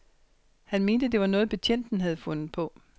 Han mente, det var noget, betjenten havde fundet på.